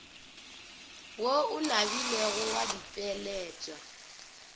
wo o nabilego wa ditpweletpwa